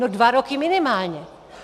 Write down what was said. No dva roky minimálně!